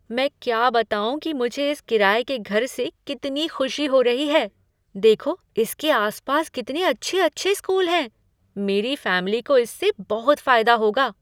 मैं क्या बताऊँ कि मुझे इस किराये के घर से कितनी खुशी हो रही है। देखो इसके आसपास कितने अच्छे अच्छे स्कूल हैं। मेरी फैमिली को इससे बहुत फायदा होगा।